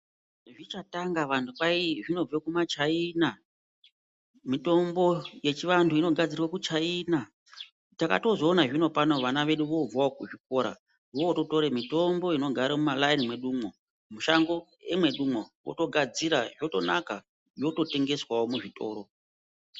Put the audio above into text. Zvichatanga vantu kwahi zvinobve kumachaina, mitombo yechivantu inogadzirwe kuchaina. Takatozoona zvino pano vana vedu vooobvawo kuzvikora voototore mitombo inogare mumalaini medumwo, mushango emwedumwo, otogadzira, zvotonaka, yototengeswawo muzvitoro.